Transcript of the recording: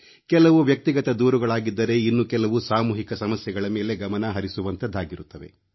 ಕೆಲವು ವ್ಯಕ್ತಿಗತ ದೂರುಗಳಾಗಿದ್ದರೆ ಇನ್ನು ಕೆಲವು ಸಾಮೂಹಿಕ ಸಮಸ್ಯೆಗಳ ಮೇಲೆ ಗಮನ ಹರಿಸುವಂಥವಾಗಿರುತ್ತವೆ